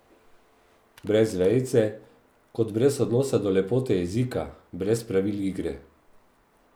Brez vejice, kot brez odnosa do lepote jezika, brez pravil igre.